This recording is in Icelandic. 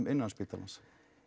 innan spítalans